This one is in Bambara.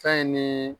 Fɛn ni